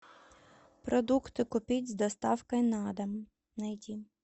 продукты купить с доставкой на дом найди